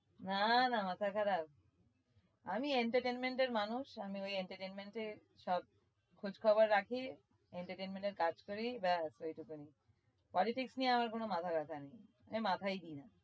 না না মাথা খারাপ? আমি entertainment এর মানুষ আমই ওই entertainment এ সব খোজখবর রাখি entertainment এর কাজ করি ব্যাস ওইটুকানি politics নিয়ে আমার কোনো মাথা ব্যাথা নেই আমি মাথায় দিই না।